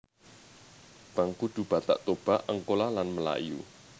Bangkudu Batak Toba Angkola lan Melayu